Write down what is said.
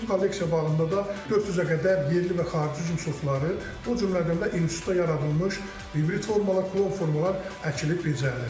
Kolleksiya bağında da 400-ə qədər yerli və xarici üzüm sortları, o cümlədən də institutda yaradılmış hibrit formalar, klon formalar əkilib becərilir.